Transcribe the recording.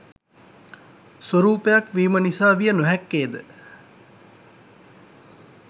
ස්වරූපයක් වීම නිසා විය නොහැක්කේද?